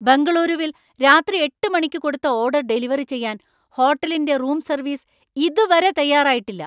ബെംഗളൂരുവിൽ രാത്രി എട്ട് മണിക്ക് കൊടുത്ത ഓർഡർ ഡെലിവറി ചെയ്യാൻ ഹോട്ടലിന്‍റെ റൂം സർവീസ് ഇതുവരെ തയ്യാറായിട്ടില്ല.